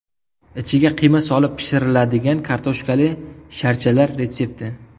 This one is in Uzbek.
Ichiga qiyma solib pishiriladigan kartoshkali sharchalar retsepti .